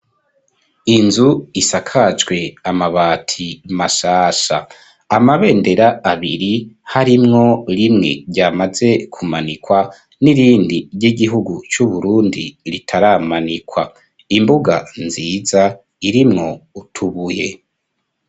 Inzu isakajwe amabati mashasha amabendera abiri harimwo rimwe ryamaze kumanikwa n'irindi ry'igihugu c'uburundi ritaramanikwa imbuga nziza irimwo utubuye.